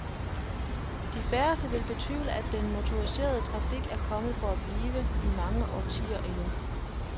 De færreste vil betvivle, at den motoriserede trafik er kommet for at blive, i mange årtier endnu.